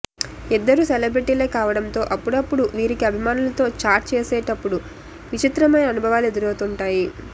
ఇద్దరూ సెలబ్రిటీలే కావడంతో అప్పుడప్పుడు వీరికి అభిమానులతో చాట్ చేసేపుడు విచిత్రమైన అనుభవాలు ఎదురవుతుంటాయి